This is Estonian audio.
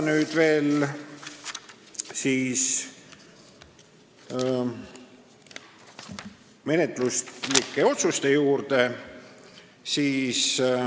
Nüüd veel menetluslikud otsused.